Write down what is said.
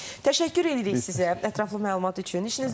Təşəkkür edirik sizə ətraflı məlumat üçün.